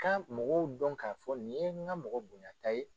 Ka mɔgɔw dɔn k'a fɔ nin ye n ka mɔgɔ bonyata ye